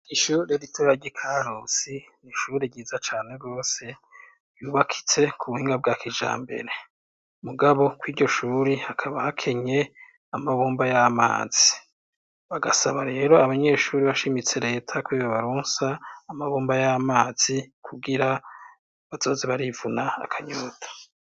Ishure ritoragya i kahusi n'ishuri ryiza cane rwose yubakitse ku buhinga bwa kija mbere mugabo kw'iryo shuri hakaba hakenye amabumba y'amazi bagasaba rero abanyeshuri bashimitse leta kubibe barunsa amabumba y'amazi kugira bazozi barivuna akanyuta.